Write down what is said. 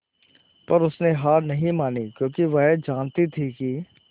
पर उसने हार नहीं मानी क्योंकि वह जानती थी कि